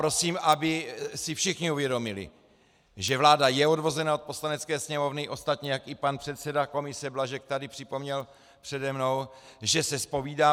Prosím, aby si všichni uvědomili, že vláda je odvozena od Poslanecké sněmovny, ostatně jak i pan předseda komise Blažek tady připomněl přede mnou, že se zpovídá